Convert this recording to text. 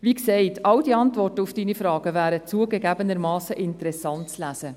Wie gesagt, alle diese Antworten auf Ihre Fragen wären zugegebenermassen interessant zu lesen.